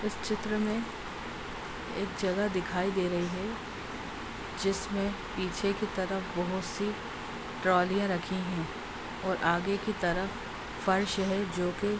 इस चित्र में एक जगह दिखाई दे रही है जिसमें पीछे की तरफ बोहोत सी ट्रॉलियां रखी हैं और आगे की तरफ फर्श है जो कि --